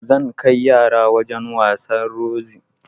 Zan kai yara wajan wasan Rozi